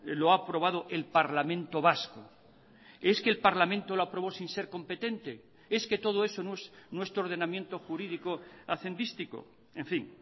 lo ha aprobado el parlamento vasco es que el parlamento lo aprobó sin ser competente es que todo eso no es nuestro ordenamiento jurídico hacendístico en fin